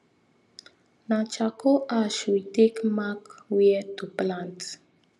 na charcoal ash we take mark wia to plant